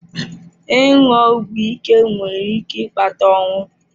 Ịṅụ ọgwụ ike nwere ike ịkpata ọnwụ.